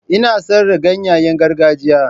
Ina sayar da ganyayen gargajiya.